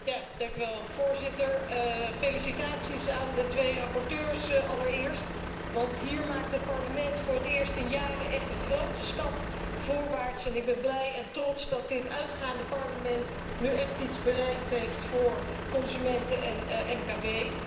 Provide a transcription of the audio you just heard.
Allereerst felicitaties aan de beide rapporteurs, want hier maakt het Parlement voor het eerst in jaren echt een grote stap voorwaarts en ik ben blij en trots dat dit uitgaande Parlement nu echt iets bereikt heeft voor consumenten en MKB.